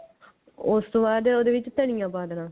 ਉਸ ਤੋਂ ਬਾਅਦ ਉਹਦੇ ਵਿੱਚ ਧਨੀਆਂ ਪਾ ਦੇਣਾ